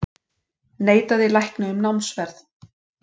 Neitaði lækni um námsferð